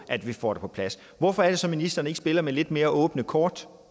at vi får det på plads hvorfor er det så ministeren ikke spiller med lidt mere åbne kort